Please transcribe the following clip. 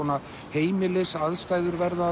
heimilisaðstæður verða